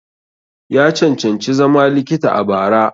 Ya cancanci zama likita a bara.